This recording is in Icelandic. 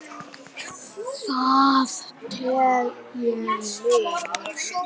Það tel ég miður.